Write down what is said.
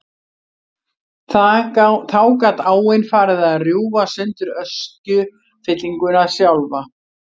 Þá gat áin farið að rjúfa sundur öskjufyllinguna sjálfa.